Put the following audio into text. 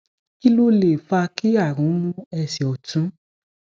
kí ló lè fa ki àrùn mu ẹsẹ ọtún